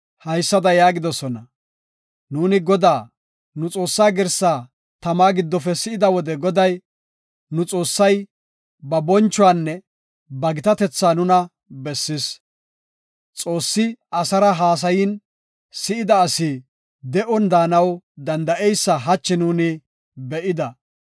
haysada yaagidosona; “Nuuni Godaa, nu Xoossaa girsaa tamaa giddofe si7ida wode Goday, nu Xoossay ba bonchuwanne ba gitatetha nuna bessis. Xoossi asara haasayin si7idi asi de7on daanaw danda7eysa hachi nuuni be7ida.